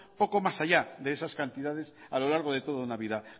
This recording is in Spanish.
poco más allá de esas cantidades a lo largo de toda una vida